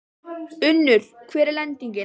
Unnur, hver er lendingin?